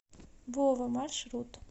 вова маршрут